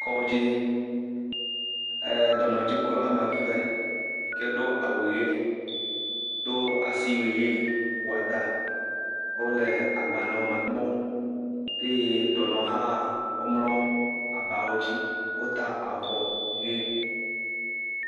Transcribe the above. Kɔdzi, eee…, dɔnɔdzikpɔla woame eve yi ke do awu ʋe do asiwu ʋe wɔ ɖa wole agbalẽwo me kpɔm eye dɔnɔwohã womlɔ abawo dzi, wota avɔ ʋe.